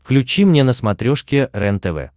включи мне на смотрешке рентв